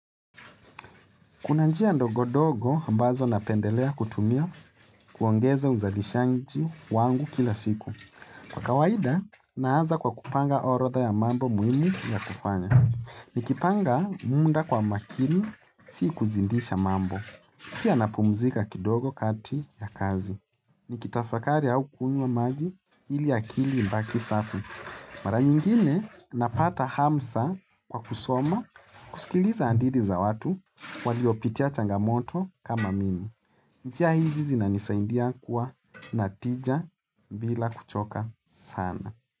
Kuna njia ndogo ndogo ambazo napendelea kutumia kuongeza uzalishaji wangu kila siku. Kwa kawaida, naaza kwa kupanga orodha ya mambo muhimu ya kufanya. Ni kipanga muda kwa makini, si kuzindisha mambo. Pia napumzika kidogo kati ya kazi. Ni kitafakari au kunywa maji ili akili ibaki safi. Mara nyingine napata hamsa kwa kusoma kusikiliza hadithi za watu waliopitia changamoto kama mimi. Njia hizi zinanisaindia kuwa natija bila kuchoka sana.